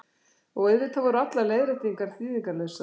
Og auðvitað voru allar leiðréttingar þýðingarlausar.